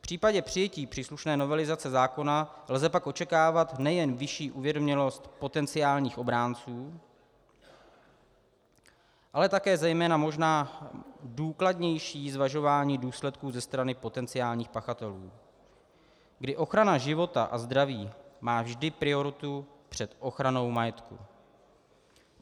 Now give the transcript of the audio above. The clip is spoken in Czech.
V případě přijetí příslušné novelizace zákona lze pak očekávat nejen vyšší uvědomělost potenciálních obránců, ale také zejména možná důkladnější zvažování důsledků ze strany potenciálních pachatelů, kdy ochrana života a zdraví má vždy prioritu před ochranou majetku.